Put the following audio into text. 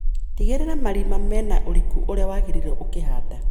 Tigĩrira marima mena ũriku ũria wagĩriire ũkihanda.